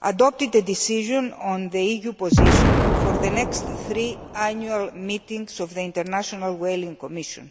adopted a decision on the EU position for the next three annual meetings of the International Whaling Commission.